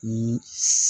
Ni